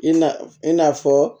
I na i na fɔ